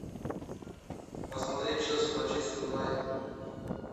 посмотреть челси манчестер юнайтед